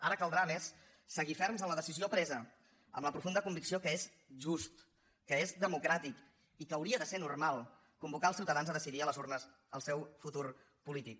ara caldrà a més seguir ferms en la decisió presa amb la profunda convicció que és just que és democràtic i que hauria de ser normal convocar els ciutadans a decidir a les urnes el seu futur polític